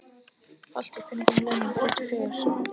Holti, hvenær kemur leið númer þrjátíu og fjögur?